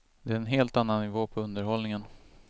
Det är en helt annan nivå på underhållningen.